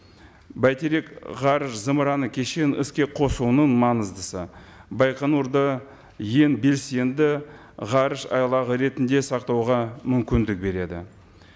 бәйтерек ғарыш зымыраны кешенін іске қосуының маңыздысы байқоңырды ең белсенді ғарышайлағы ретінде сақтауға мүмкіндік береді